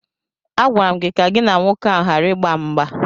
Agwara m gị ka gị na nwoke ahụ gbara ịgba mgba!